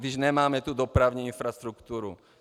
Když nemáme tu dopravní infrastrukturu.